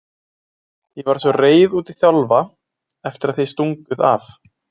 Ég var svo reið út í Þjálfa eftir að þið stunguð af